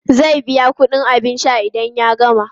Zai biya kudin abin sha idan ya gama.